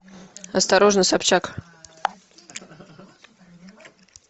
осторожно собчак